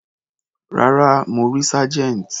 Rárá, mo rí Sergeant.